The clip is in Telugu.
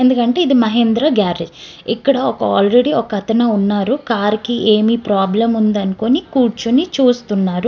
ఎందుకంటే ఇది మహేంద్ర గ్యారేజ్ ఇక్కడ ఒక ఆల్రెడీ ఒక అతను ఉన్నారు. కార్ కి ఏమి ప్రాబ్లెమ్ ఉందని అనుకోని చూస్తున్నారు.